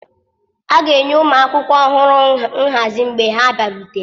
A ga-enye ụmụ akwụkwọ ọhụrụ nhazi mgbe ha bịarutere.